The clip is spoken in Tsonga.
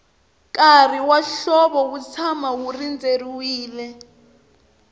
nkarhi wa hlovo wu tshama wu rindzeriwile